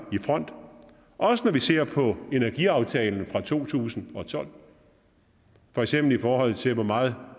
i front også når vi ser på energiaftalen fra to tusind og tolv for eksempel i forhold til hvor meget